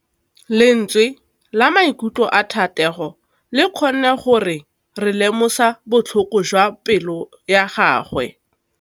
Lentswe la maikutlo a Thategô le kgonne gore re lemosa botlhoko jwa pelô ya gagwe.